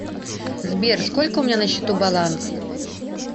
сбер сколько у меня на счету баланс